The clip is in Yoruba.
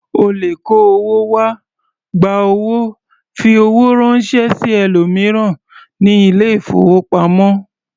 O lè kó owó wá, gba owó, fi owó ránṣẹ́ sí ẹlòmíràn ní ilé-ìfowópamọ́.